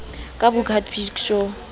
ka booker t big show